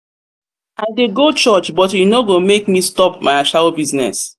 i dey go church but e no go make me stop my ashawo business.